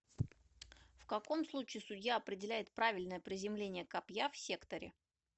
в каком случае судья определяет правильное приземление копья в секторе